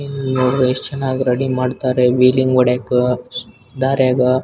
ಇಲ್ಲ್ ನೋಡಿದ್ರೆ ಎಷ್ಟು ಚೆನ್ನಾಗಿ ರೆಡಿ ಮಾಡ್ತಾರೆ ವೀಲಿಂಗ್ ಹೊಡಿಯಾಕೆ ಸ್ ದಾರ್ಯಾಗ.